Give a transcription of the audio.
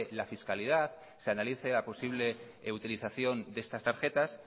la fiscalidad se analice la posible utilización de estas tarjetas